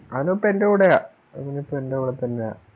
അവനിപ്പോ ഇവിടെയാണ് അവനിപ്പോ എൻറെ കൂടെതന്നെയാ